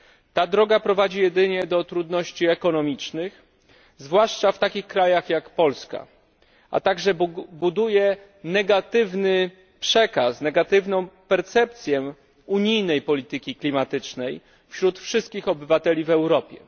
Ta droga prowadzi jedynie do trudności ekonomicznych, zwłaszcza w takich krajach jak Polska, a także buduje negatywny przekaz, negatywną percepcję unijnej polityki klimatycznej wśród wszystkich obywateli w Europie.